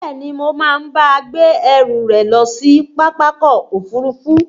Bẹ́ẹ̀ni, Mo máa bá a gbé ẹrù rẹ̀ lọ sí Pápákọ̀ òfurufú